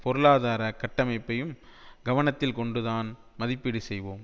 பொருளாதார கட்டமைப்பையும் கவனத்தில் கொண்டுதான் மதிப்பீடு செய்வோம்